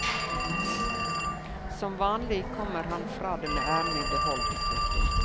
Som vanlig kommer han fra det med æren i behold. punktum